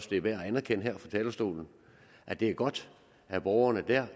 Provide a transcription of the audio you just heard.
det er værd at anerkende her fra talerstolen at det er godt at borgerne